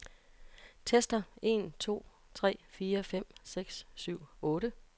Tester en to tre fire fem seks syv otte.